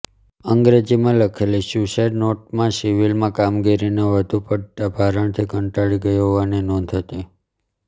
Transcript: અંગ્રેજીમાં લખેલી સ્યુસાઇડ નોટમાં સિવિલમાં કામગીરીના વધુ પડતા ભારણથી કંટાળી ગયો હોવાની નોંધ હતી